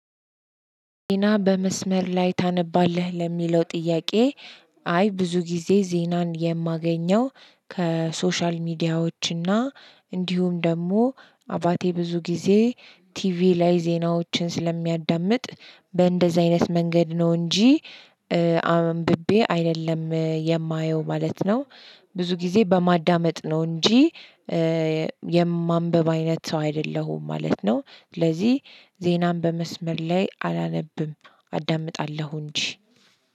ዜና በመስመር ላይ ታነባለህ? ለሚለው ጥያቄ፤ አይ፣ ብዙ ጊዜ ዜናን የማገኘው ከሶሻል ሚዲያዎችና እንዲሁም ደግሞ፣ አባቴ ብዙ ጊዜ ቲቪ ላይ ዜናዎችን ስለሚያዳምጥ፤ በእንደዚህ አይነት ማንገድ ነው እንጂ አምብቤ አይደለም የማየው ማለት ነው፤ ብዙ ጊዜ በማዳመጥ ነው እንጂ የማንበብ አይነት ሰው አይደለሁም ማለት ነው፤ ስለዚህ ዜናም በመስመር ላይ አላነብም አዳምጣለሁ እንጂ።